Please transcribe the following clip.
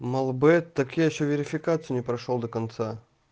мелбет так я ещё верификацию не прошёл до конца